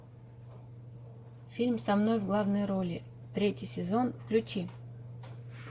фильм со мной в главной роли третий сезон включи